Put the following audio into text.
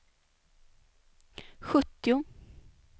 sjuttio